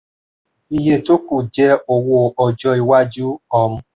iye tó kù jẹ́ owó ọjọ́ iwájú. um